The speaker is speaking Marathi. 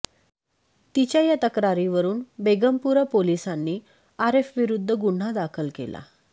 तिच्या या तक्रारीवरून बेगमपुरा पोलिसांनी आरेफविरुद्ध गुन्हा दाखल केला